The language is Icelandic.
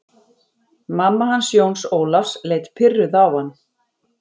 Mamma hans Jóns Ólafs leit pirruð á hann.